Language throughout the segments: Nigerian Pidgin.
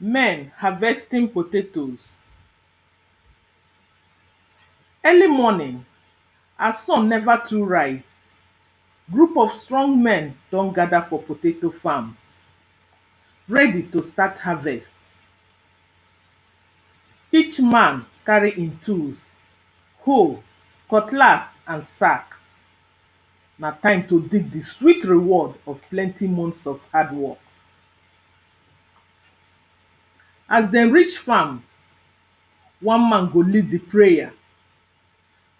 Men harvesting potatoes. Early morning, as sun never too rise group of strong men don gather for potato farm ready to start harvest. Each man carry in tools, hoe, cutlass and sack. Na time to dig the sweet reward of plenty months of hardwork. As dem reach farm, one man go lead the prayer,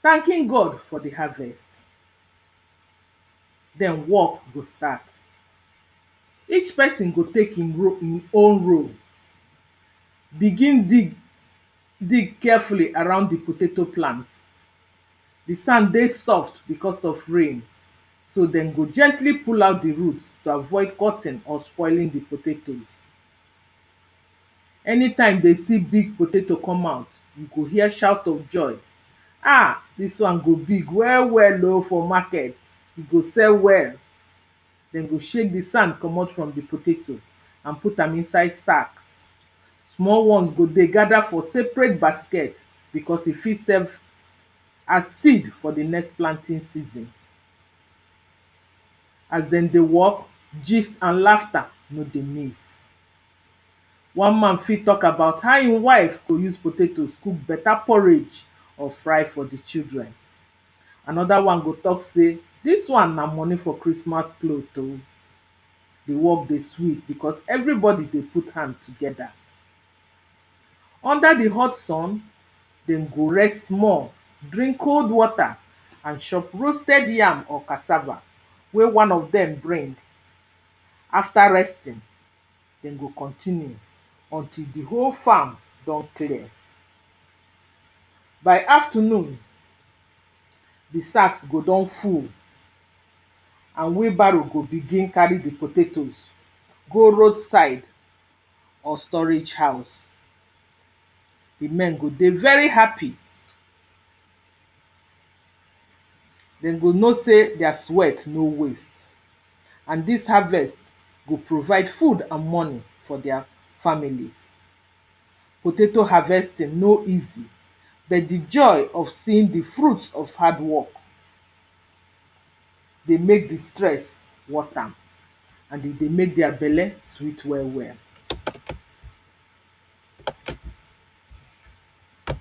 thanking God for the harvest den work go start. Each person go take in in own role begin dig, dig carefully around the potato plants. The sand dey soft because of rain, so den go gently pull out the roots to avoid cutting or spoiling the potatoes Anytime dey see big potato come out, you go hear shout of joy, ah! this one go big well well oh for market, e go sell well. Dem go shake the sand comot from the potato and put am inside sack. Small ones go dey gather for seperate basket because e fit serve as seed for the next planting season. As dem dey work, gist and laughter no dey miss. One man fit talk about how e wife go use potatoes cook beta porridge or fry for the children. Another one go talk say this one na money for christmas cloth o. The work dey sweet because everybody dey put hand together. Under the hot sun, den go rest small, drink cold water and chop roasted yam or cassava wey one of them bring. After resting, den go continue until the whole farm don clear. By afternoon, the sacks go don full and wheel barrow go begin carry the potatoes go roadside or storage house. The men go dey very happy, den go know say their sweat no waste and this harvest go provide food and money for their familes. Potato harvesting no easy bet the joy of seeing the fruits of hardwork, dey make the stress worth am and e dey make their belle sweet well well.